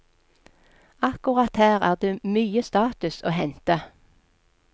Akkurat her er det mye status å hente.